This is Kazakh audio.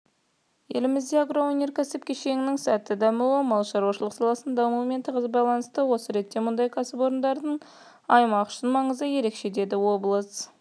елімізде агроөнеркәсіп кешенінің сәтті дамуы мал шаруашылығы саласының дамуымен тығыз байланысты осы ретте мұндай кәсіпорындардың аймақ үшін маңызы ерекше деді облыс